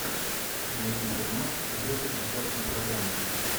найди фильмас в духе концертной программы